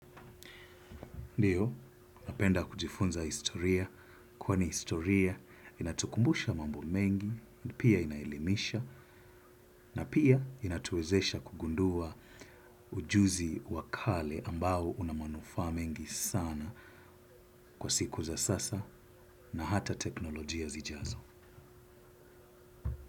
Ndiyo, napenda kujifunza historia kwani historia inatukumbusha mambo mengi, pia inaelimisha, na pia inatuwezesha kugundua ujuzi wa kale ambao una manufaa mengi sana kwa siku za sasa na hata teknolojia zijazo.